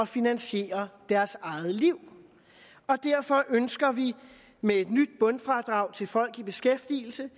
finansiere deres eget liv derfor ønsker vi med et nyt bundfradrag til folk i beskæftigelse